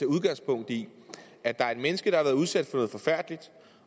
udgangspunkt i at der er et menneske der har været udsat for noget forfærdeligt